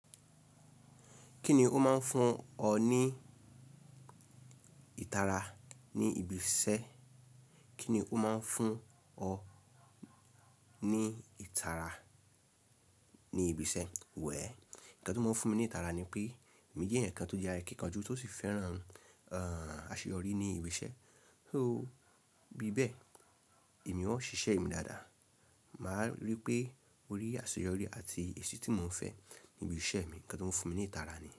Kíni ó máa ń fún ọ ní ìtara ni ibi ise? Ní ibi iṣẹ́? Well, nǹkan tó máa ń fún mi ní ìtara ni pé emi jẹ́ eeyan kan tó jẹ́ akíkanjú tó sì fẹ́ràn, àṣeyọrí ní ibi iṣẹ́. So, bí bẹ́ẹ̀ èmi ó ń ṣiṣẹ́ mi dáadáa. Mà á rí pé orí àṣeyọrí àti èsì tí mo ń fẹ́ ní ibi iṣẹ́ mi. Nǹkan tó ń fún mi ní ìtara ni.